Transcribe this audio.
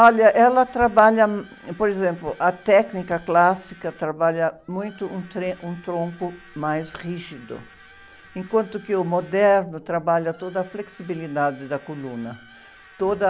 Olha, ela trabalha... Por exemplo, a técnica clássica trabalha muito um tre, um tronco mais rígido, enquanto que o moderno trabalha toda a flexibilidade da coluna. Toda...